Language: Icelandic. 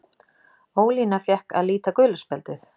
Ólína fékk að líta gula spjaldið.